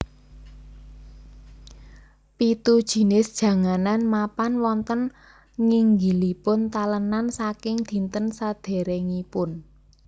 Pitu jinis janganan mapan wonten nginggilipun talenan saking dinten sedèrèngipun